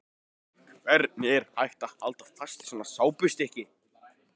Hvernig var hægt að halda fast í svona sápustykki!